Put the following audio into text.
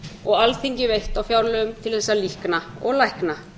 og alþingi veitt á fjárlögum til þess að líkna og lækna